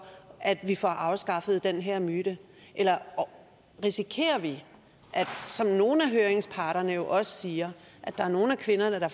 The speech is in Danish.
at vi får afskaffet den her myte eller risikerer vi som nogle af høringsparterne også siger at nogle af kvinderne